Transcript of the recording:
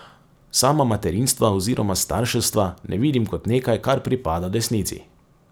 Sama materinstva oziroma starševstva ne vidim kot nekaj, kar pripada desnici.